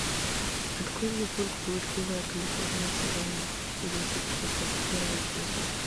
открой мне мульт блудливая калифорния сезон десять тридцать первый эпизод